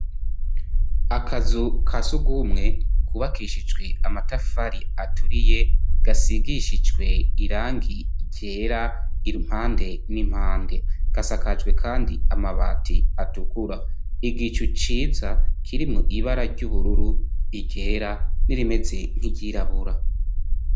Akazu kasugumwe kubakishijwe amatafari aturiye gasigishijwe irangi ryera impande n'impande, gasakajwe kandi amabati atukura igicu ciza kirimwo ibara ry'ubururu, iryera n'irimeze nk'iryirabura.